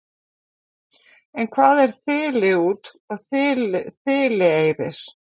en hvað er þiliút og þilieyrir